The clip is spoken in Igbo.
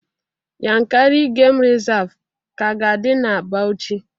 Yankari game Reserve ka ga-adị na Bauchi